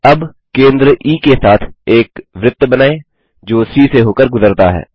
अब केंद्र ई के साथ एक वृत्त बनाएँ जो सी से होकर गुजरता है